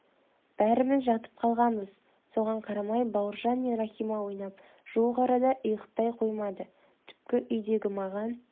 бәріміз жатып қалғанбыз соған қарамай бауыржан мен рахима ойнап жуық арада ұйықтай қоймады түпкі үйдегі маған